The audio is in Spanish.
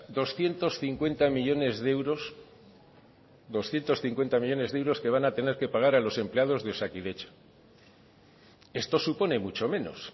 doscientos cincuenta millónes de euros doscientos cincuenta millónes de euros que van a tener que pagar a los empleados de osakidetza esto supone mucho menos